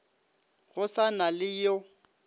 go sa na le yo